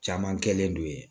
Caman kɛlen don yen